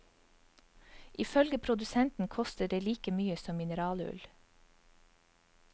Ifølge produsenten koster det like mye som mineralull.